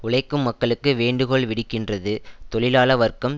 உழைக்கும் மக்களுக்கு வேண்டுகோள் விடுக்கின்றது தொழிலாள வர்க்கம்